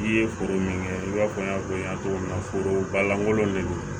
I ye foro min kɛ i b'a fɔ n y'a fɔ i ɲɛna cogo min na foro balankolon de don